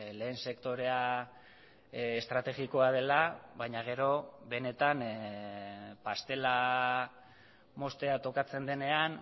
lehen sektorea estrategikoa dela baina gero benetan pastela moztea tokatzen denean